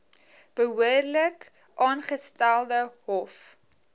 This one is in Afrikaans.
behoorlik aangestelde hoof